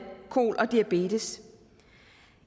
kol og diabetes